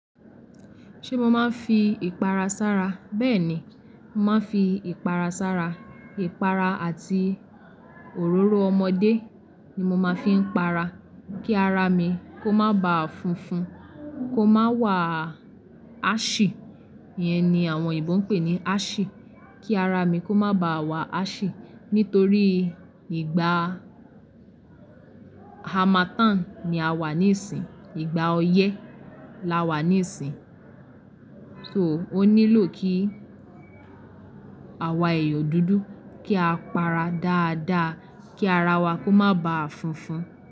Ṣé mo máa ń fi ìpara sára? Bẹ́ẹ̀ ni, mo máa ń fi ìpara sára. Ìpara àti òróró ọmọdé ni mo máa ń fi ń para kí ara mi kó má ba funfun, kó má wà á ṣì. İyẹn ni àwọn òyìnbó ń pè ní á ṣì. Kí ara mi kó má ba wà á ṣì. Nítorí ìgbà harmattan ni a wà níìsín, ìgbà oyẹ́ la wà níìsín. So ó nílò kí àwa èèyàn dúdú kí á para dáadáa kí ara wa kó má ba funfun.